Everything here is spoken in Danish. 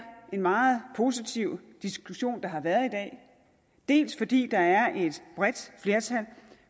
en meget positiv diskussion der har været i dag dels fordi der er et bredt flertal